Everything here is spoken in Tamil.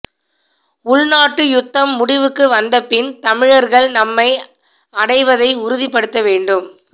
உள்நாட்டு யுத்தம் முடிவுக்கு வந்த பின் தமிழர்கள் நன்மை அடைவதை உறுதிப்படுத்த வேண்டும்